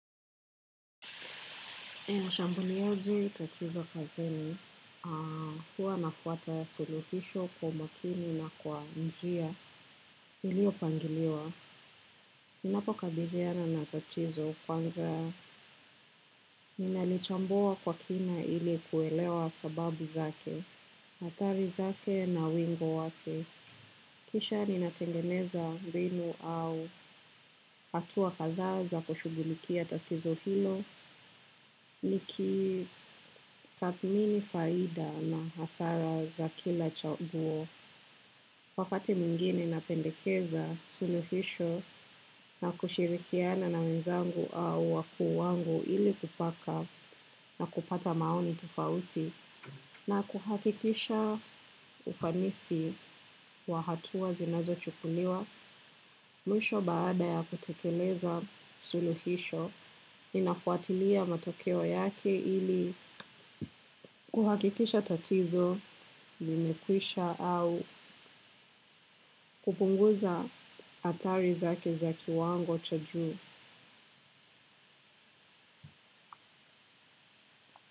Nashambuliaje tatizo kazini, huwa nafuata suluhisho kwa umakini na kwa njia iliyopangiliwa. Ninapo kabiliana na tatizo kwanza ninalichambua kwa kina ili kuelewa sababu zake, athari zake na wingu wake. Kisha ninatengeneza rinu au hatua kadhaa za kushughulikia tatizo hilo nikitathmini faida na hasara za kila chaguo. Wakati mwingine napendekeza suluhisho na kushirikiana na wenzangu au wakuu wangu ili kupaka na kupata maoni tofauti. Na kuhakikisha ufanisi wa hatua zinazochukuliwa mwisho baada ya kutekeleza suluhisho inafuatilia matokeo yake ili kuhakikisha tatizo limekwisha au kupunguza athari zake za kiwango cha juu.